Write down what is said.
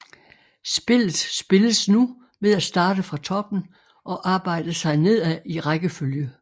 Spillet spilles nu ved at starte fra toppen og arbejde sig nedad i rækkefølge